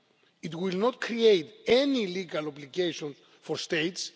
It will not create any legal obligations for